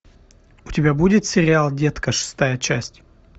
у тебя будет сериал детка шестая часть